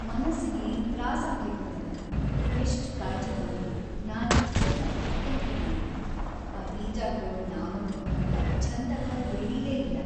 ಮನಸ್ಸಿಗಿ ತ್ರಾಸಾಗ್ಲಿಕತ್ತದ.. ಎಷ್ಟ್‌ ಕಾಳ್‌ಜೀ ತೊಗೊಂಡ್‌ ನಾಜೂಕ್ಲಿಂದ ಬಿತ್ತಣಿಕಿ ಮಾಡಿದ್ವಿ ಆ ಬೀಜಾಗೊಳ್‌ ನಾವನ್ಕೊಂಡ್ಹಂಗ ಛಂದಕ್ಕ ಬೆಳೀಲೇಇಲ್ಲಾ.